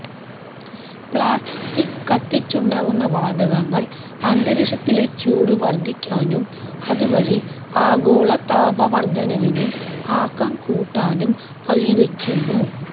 plastic കത്തിച്ചുണ്ടാവുന്ന വാതകങ്ങള് അന്തരീക്ഷത്തിലെ ചൂട് വര്ദ്ധിക്കാനും അതുവഴി ആഗോള താപ വര്ദ്ധനവിന് ആക്കം കൂട്ടാനും വഴിവെയ്ക്കുന്നു